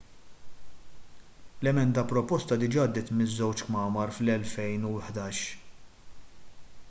l-emenda proposta diġà għaddiet miż-żewġ kmamar fl-2011